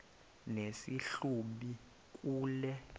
nesi hlubi kule